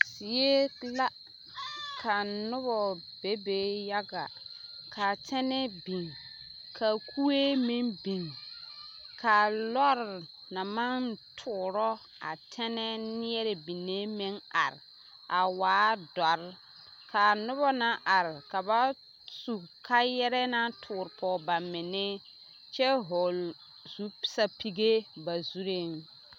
Zie la ka nobɔ bebe yaga k'a tɛnɛɛ biŋ k'a kue meŋ biŋ k'a lɔre naŋ maŋ toorɔ a tɛnɛɛ ne neɛrɛ binne meŋ are a waa dɔre k'a nobɔ naŋ are ka ba su kaayarɛɛ naŋ toore pɔge bamenne kyɛ hɔɔle sapige ba zureeŋ.